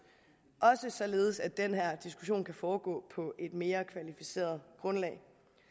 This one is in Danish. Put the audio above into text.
også således at den her diskussion kan foregå på et mere kvalificeret grundlag